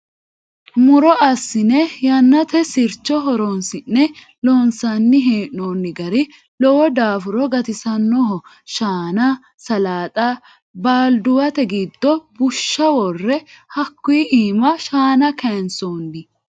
Muro assine yannate sircho horonsi'ne loonsanni hee'nonni gari lowo daafuro gatisanoho shaana salxa balduwate giddo bushsha wore hakkuyi iima shaana kayinsonni.